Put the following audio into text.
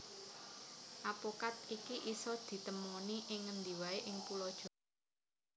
Apokat iki isa ditemoni ing ngendi waé ing Pulo Jawa